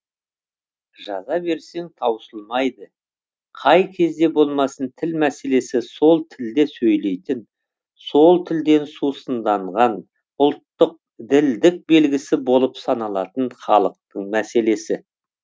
жаза берсең таусылмайды қай кезде болмасын тіл мәселесі сол тілде сөйлейтін сол тілден сусынданған ұлттық ділдік белгісі болып саналатын халықтың мәселесі